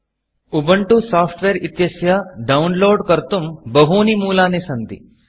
उबन्तु Softwareउबण्टु सोफ़्ट्वेर् इत्यस्य Downloadडौन्लोड् कर्तुं बहूनि मूलानि सन्ति